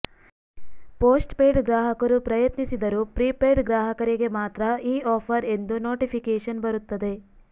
postpaid ಗ್ರಾಹಕರು ಪ್ರಯತ್ನಿಸಿದರು prepaid ಗ್ರಾಹಕರಿಗೆ ಮಾತ್ರ ಈ ಆಫರ್ ಎಂದು ನೋಟಿಫಿಕೇಶನ್ ಬರುತ್ತದೆ